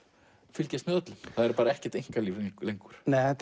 fylgjast með öllum það er ekkert einkalíf lengur þetta